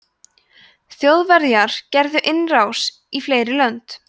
þjóðverjar gerðu innrásir í fleiri lönd